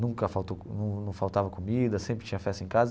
Nunca faltou num num faltava comida, sempre tinha festa em casa.